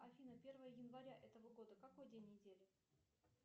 афина первое января этого года какой день недели